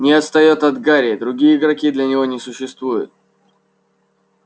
не отстаёт от гарри другие игроки для него не существуют